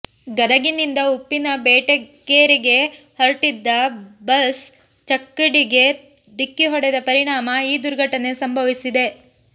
ಗದಗನಿಂದ ಉಪ್ಪಿನ ಬೆಟಗೇರಿಗೆ ಹೊರಟಿದ್ದ ಬಸ್ ಚಕ್ಕಡಿಗೆ ಡಿಕ್ಕಿ ಹೊಡೆದ ಪರಿಣಾಮ ಈ ದುರ್ಘಟನೆ ಸಂಭವಿಸಿದೆ